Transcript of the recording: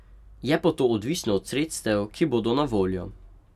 Je pa to odvisno od sredstev, ki bodo na voljo.